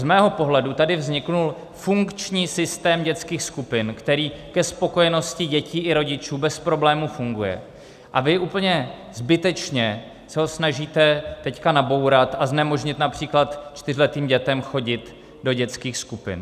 Z mého pohledu tady vznikl funkční systém dětských skupin, který ke spokojenosti dětí i rodičů bez problémů funguje, a vy úplně zbytečně se ho snažíte teď nabourat a znemožnit například čtyřletým dětem chodit do dětských skupin.